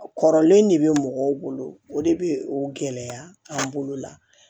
Kɔrɔlen de bɛ mɔgɔw bolo o de bɛ o gɛlɛya an bolo la